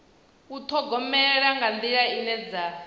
ṱhogomela nga nḓila ine dza